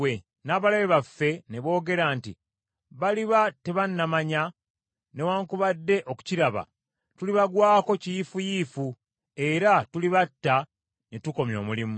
N’abalabe baffe ne boogera nti, “Baliba tebanamanya newaakubadde okukiraba, tulibagwako kiyiifuyiifu, era tulibatta ne tukomya omulimu.”